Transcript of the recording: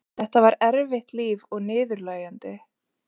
Þetta var erfitt líf og niðurlægjandi.